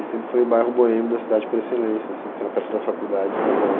E sempre foi o bairro boêmio da cidade por excelência, assim porque era perto da faculdade estadual.